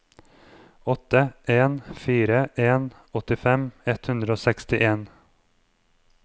åtte en fire en åttifem ett hundre og sekstien